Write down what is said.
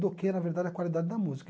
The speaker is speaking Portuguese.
Do que, na verdade, a qualidade da música.